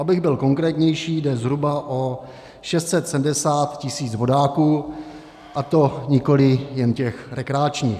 Abych byl konkrétnější, jde zhruba o 670 tisíc vodáků, a to nikoli jen těch rekreačních.